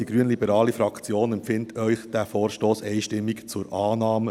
Die Fraktion Grünliberale empfiehlt Ihnen diesen Vorstoss einstimmig zur Annahme.